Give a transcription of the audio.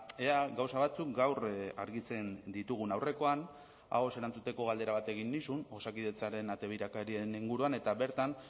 ea gauza batzuk gaur argitzen ditugun aurrekoan ahoz erantzuteko galdera bat egin nizun osakidetzaren ate birakarien inguruan eta bertan